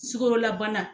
Sukarolabana